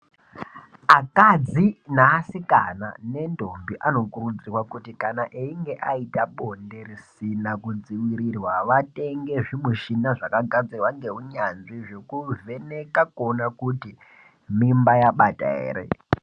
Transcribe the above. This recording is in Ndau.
Akadzi neasikana nendombi anokurudzirwa kuti kana einge aita bonde risina kudzivirirwa vatenge zvimushina zvakagadzirwa neunyanzvi zvekuvheneka kuona kuti mimba yabata ere.